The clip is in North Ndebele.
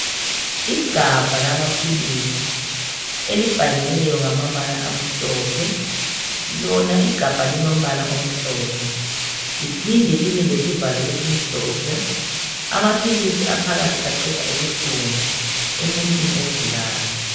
Igabha lamaphilisi elibhaliweyo ngamabala amhlophe .Lona igabha lilombala omhlophe liphinde libe lesivalo esimhlophe amaphilisi aphakathi aqeda ubuhlungu emuntwini ogulayo.